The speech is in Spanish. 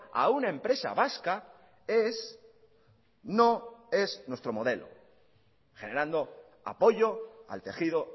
a una empresa vasca es no es nuestro modelo generando apoyo al tejido